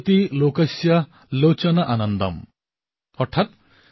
ইয়াত প্ৰতিটো বৰ্গ আৰু সকলো বয়সৰ লোকে শিকিবলগীয়া বহু কথা আছে